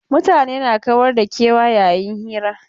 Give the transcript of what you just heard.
Mutane na kawar da kewa a yayin hira.